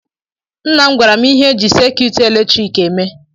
Nna m gwara m ihe eji sekyut eletrik eme.